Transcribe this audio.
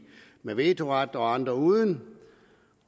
med vetoret og andre uden